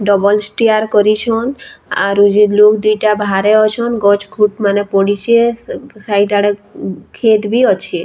Double stair କରିଛନ୍‌ ଆରୁ ଯେନ୍‌ ଲୋକ୍‌ ଦିଟା ବାହାରେ ଅଛନ୍‌ ଗଛ୍‌ ଖୁଟ୍‌ ମାନେ ପଡ଼ିଛେ ସାଇଡ୍‌ ଆଡେ କ୍ଷେତ୍‌ ବି ଅଛେ।